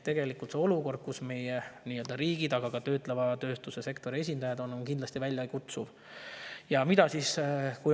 See olukord, kus meie riigid, aga ka töötleva tööstuse sektori esindajad on, on kindlasti väljakutseterohke.